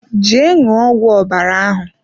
Jee ṅụọ ọgwụ ọbara ahụ!